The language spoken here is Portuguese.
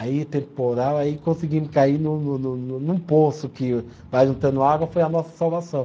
Aí, temporal, aí conseguimos cair no no no no, num poço que vai juntando água, foi a nossa salvação.